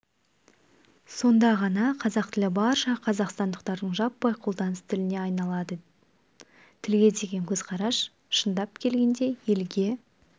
сонда ғана қазақ тілі барша қазақстандықтардың жаппай қолданыс тіліне айналады тілге деген көзқарас шындап келгенде елге